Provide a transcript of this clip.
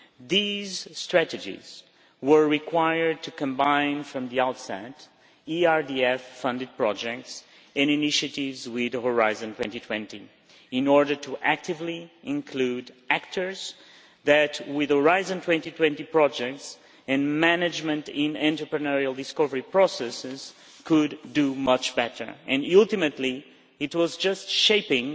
These strategies were required to combine from the outset ERDF funded projects in initiatives with Horizon 2020 in order to actively include actors that, with Horizon 2020 projects in management in entrepreneurial discovery processes, could do much better, and ultimately it was just shaping